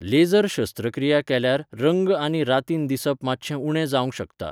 Leisure शस्त्रक्रिया केल्यार रंग आनी रातीन दिसप मात्शें उणें जावंक शकता.